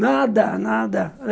Nada, nada.